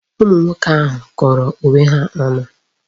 Ụmụ nwoke ahu kọrọ onwe ha ọnụ.